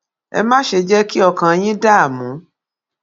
ẹ má ṣe jẹ kí ọkàn yín dààmú